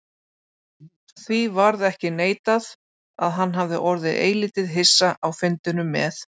Því varð ekki neitað, að hann hafði orðið eilítið hissa á fundinum með